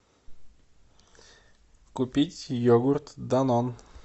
купить йогурт данон